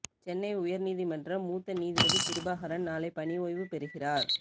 சென்னை உயர்நீதிமன்ற மூத்த நீதிபதி கிருபாகரன் நாளை பணி ஓய்வு பெறுகிறார்